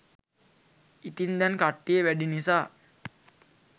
ඉතින් දැන් කට්ටිය වැඩි නිසා